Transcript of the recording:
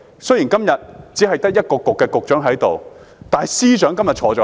雖然今天只得一個政策局的局長在席，但司長今天在席。